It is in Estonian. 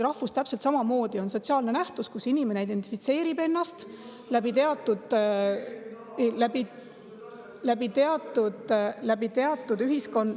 Rahvus on sotsiaalne nähtus, mille puhul inimene identifitseerib ennast teatud …, teatud ühiskond…